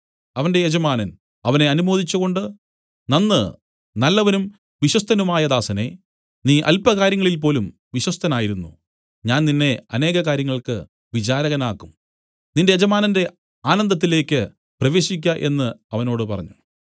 അവന്റെ യജമാനൻ അവനെ അനുമോദിച്ചുകൊണ്ട് നന്ന് നല്ലവനും വിശ്വസ്തനുമായ ദാസനേ നീ അല്പകാര്യങ്ങളിൽ പോലും വിശ്വസ്തനായിരുന്നു ഞാൻ നിന്നെ അനേക കാര്യങ്ങൾക്ക് വിചാരകനാക്കും നിന്റെ യജമാനന്റെ ആനന്ദത്തിലേക്ക് പ്രവേശിക്ക എന്നു അവനോട് പറഞ്ഞു